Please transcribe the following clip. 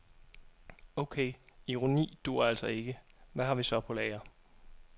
Okay, ironi duer altså ikke, hvad har vi så på lager.